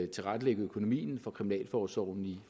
tilrettelægge økonomien for kriminalforsorgen i